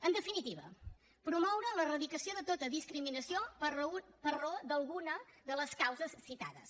en definitiva promoure l’erradicació de tota discriminació per raó d’alguna de les causes citades